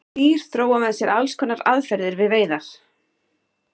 Dýr þróa með sér alls konar aðferðir við veiðar.